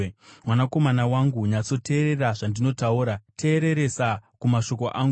Mwanakomana wangu, nyatsoteerera zvandinotaura; teereresa kumashoko angu.